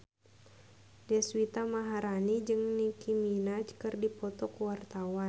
Deswita Maharani jeung Nicky Minaj keur dipoto ku wartawan